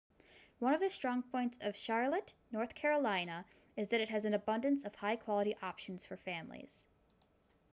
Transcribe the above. one of strong points of charlotte north carolina is that it has an abundance of high-quality options for families